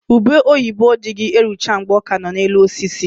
Ube oyibo dịghị erucha mgbe ọ ka nọ na elu osisi